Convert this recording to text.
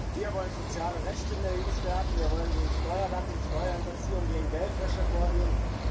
Wir wollen soziale Rechte in der EU stärken, wir wollen gegen Steuerdumping, Steuerhinterziehung und gegen Geldwäsche vorgehen.